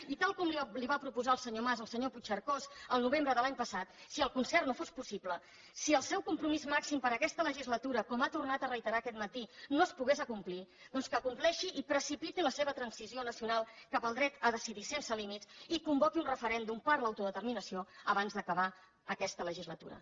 i tal com li va proposar el senyor mas al senyor puigcercós al novembre de l’any passat si el concert no fos possible si el seu compromís màxim per a aquesta legislatura com ha tornat a reiterar aquest matí no es pogués acomplir doncs que compleixi i precipiti la seva transició nacional cap al dret a decidir sense límits i convoqui un referèndum per l’autodeterminació abans d’acabar aquesta legislatura